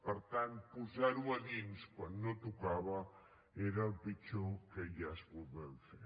per tant posar ho a dins quan no tocava era el pitjor que es podia fer